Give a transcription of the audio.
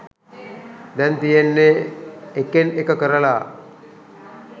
දැන් තියෙන්නේ එකෙන් එක කරලා